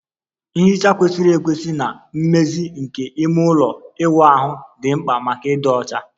Nhicha kwesịrị ekwesị na mmezi nke ime ụlọ ịwụ ahụ dị mkpa maka ịdị ọcha